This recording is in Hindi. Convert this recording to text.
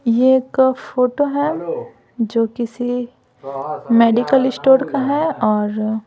ये एक फोटो है जो किसी मेडिकल स्टोर का है और --